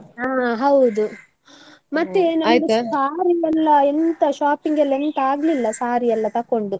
ಹಾ ಹೌದು ಮತ್ತೆ ನಂದು saree ಎಲ್ಲಾ ಎಂಥ shopping ಎಲ್ಲಾ ಎಂಥ ಆಗ್ಲಿಲ್ಲ, saree ಎಲ್ಲಾ ತಕ್ಕೊಂಡು.